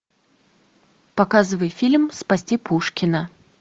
показывай фильм спасти пушкина